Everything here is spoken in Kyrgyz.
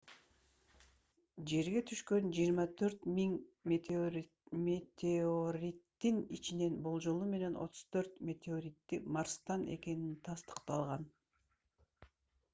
жерге түшкөн 24 000 метеориттин ичинен болжолу менен 34 меоторити марстан экени тастыкталган